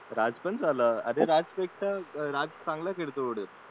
राज पण झाला राज पेक्षा राज चांगला खेळतो उलट